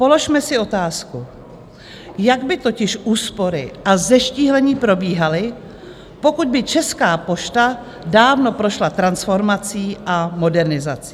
Položme si otázku, jak by totiž úspory a zeštíhlení probíhaly, pokud by Česká pošta dávno prošla transformací a modernizací?